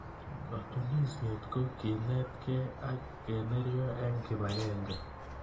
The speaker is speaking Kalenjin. Katunisyet ko keneetkei ak keneryo eng kibagenge.